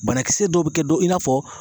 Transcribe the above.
Banakisɛ dɔw bɛ kɛ dɔ, in na fɔ